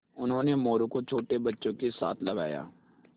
उन्होंने मोरू को छोटे बच्चों के साथ लगाया